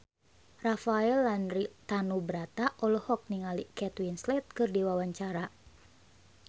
Rafael Landry Tanubrata olohok ningali Kate Winslet keur diwawancara